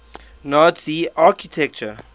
nazi architecture